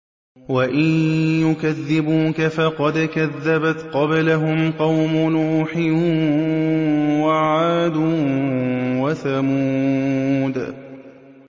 وَإِن يُكَذِّبُوكَ فَقَدْ كَذَّبَتْ قَبْلَهُمْ قَوْمُ نُوحٍ وَعَادٌ وَثَمُودُ